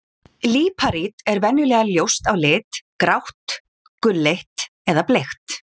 Líparít er venjulega ljóst á lit, grátt, gulleit eða bleikt.